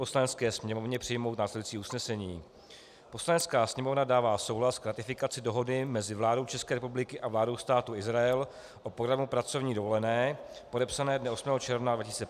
Poslanecké sněmovně přijmout následující usnesení: Poslanecká sněmovna dává souhlas k ratifikaci Dohody mezi vládou České republiky a vládou Státu Izrael o programu pracovní dovolené, podepsané dne 8. června 2015 v Jeruzalémě.